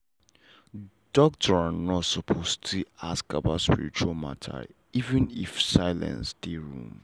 doctor and nurse suppose still ask about spiritual matter even if silence dey room.